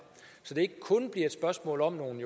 så det ikke kun bliver et spørgsmål om nogle